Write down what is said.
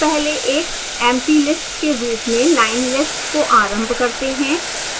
हम पहले एक emptylist के रूप में line_list को आरंभ करते हैं